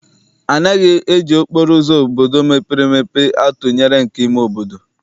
Anaghị eji okporo ụzọ obodo mepere emepe atụnyere nke ime obodo.